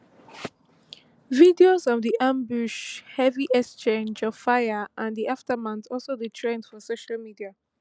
videos of di ambush heavy exchange of fire and di aftermath also dey trend for social media